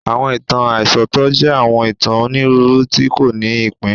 Awọn itan aisọtọ jẹ awọn itan oniruuru ti ko ni ipin